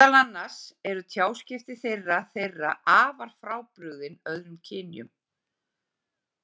Meðal annars eru tjáskipti þeirra þeirra afar frábrugðin öðrum kynjum.